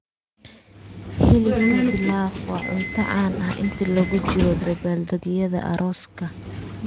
Hilibka pilaf waa cunto caan ah inta lagu jiro dabaaldegyada arooska.